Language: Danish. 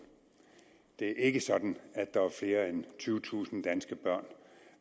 det er ikke sådan at der er flere end tyvetusind danske børn